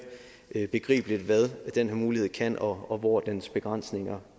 begribeligt hvad den her mulighed kan betyde og hvor dens begrænsninger